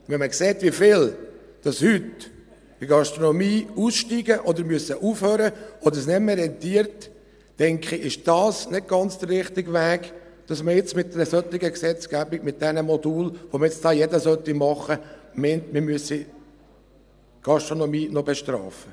Wenn man sieht, wie viele in der Gastronomie heute aussteigen oder aufhören müssen oder es nicht mehr rentiert, denke ich, es ist nicht ganz der richtige Weg, dass man nun mit einer solchen Gesetzgebung, mit diesen Modulen, die nun jeder machen soll, meint, man müsse die Gastronomie noch bestrafen.